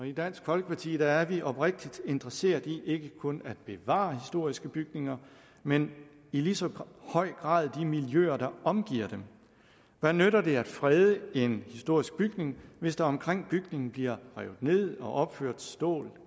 i dansk folkeparti er vi oprigtigt interesseret i ikke kun at bevare historiske bygninger men i lige så høj grad de miljøer der omgiver dem hvad nytter det at frede en historisk bygning hvis der omkring bygningen bliver revet ned og opført stål